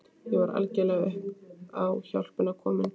Ég var algjörlega upp á hjálpina komin.